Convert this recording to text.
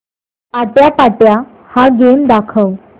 आट्यापाट्या हा गेम दाखव